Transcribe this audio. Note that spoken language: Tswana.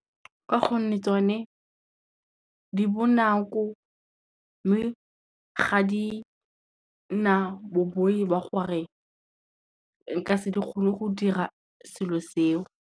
Ka gonne tsone, di bonako mme ga di na boboi ba gore nka se di gone go dira selo seo.